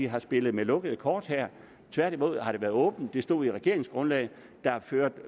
har spillet med lukkede kort her tværtimod har det været åbent det stod i regeringsgrundlaget der er ført